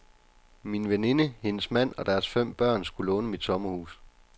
Min veninde, hendes mand og deres fem børn skulle låne mit sommerhus.